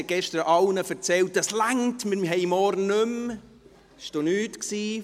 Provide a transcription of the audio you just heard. Sie erzählte gestern allen, dass es reiche und wir morgen keine Sitzung mehr haben.